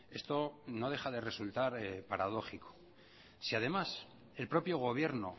esto no deja de resultar paradójico si además el propio gobierno